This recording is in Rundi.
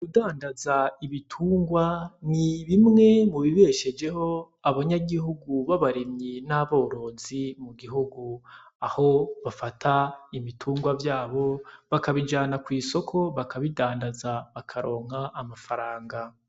Kudandaza ibitungwa n'ibimwe mu bibeshejeho abanyagihugu babarimyi n'aborozi mu gihugu aho bafata ibitungwa vyabo bakabijana kw'isoko bakabidandaza bakaronka amafaranga.